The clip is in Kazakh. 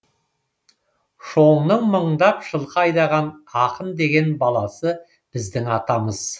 шоңның мыңдап жылқы айдаған ақын деген баласы біздің атамыз